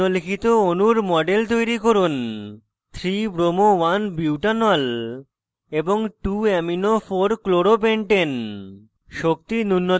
এখন নিম্নলিখিত অণুর models তৈরি করুন 3bromo1butanol এবং 2amino4chloropentane